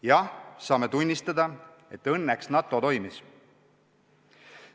Jah, saame tunnistada, et õnneks NATO toimis.